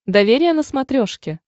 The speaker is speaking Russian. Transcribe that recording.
доверие на смотрешке